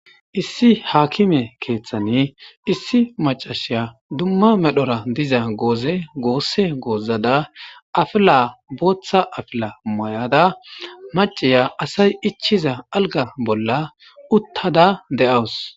Issi haakime keeththani issi macashiya dumma medhora diza goozegoosse goozada afila booththa afila mayada maciya asay ichiza alga bolla uttada de'awus.